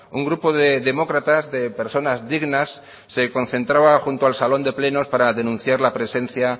un grupo de demócratas de personas dignas se concentraba junto al salón de plenos para denunciar la presencia